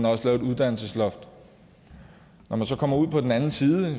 også lavet et uddannelsesloft når man så kommer ud på den anden side